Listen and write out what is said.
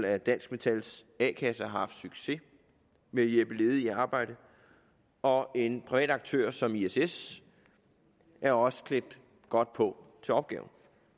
at dansk metals a kasse har haft succes med at hjælpe ledige i arbejde og en privat aktør som iss iss er også klædt godt på til opgaven